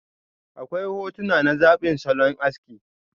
Akwai hotuna na zabin salon aski.